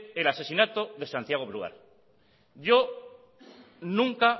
el asesinato de santiago brouard yo nunca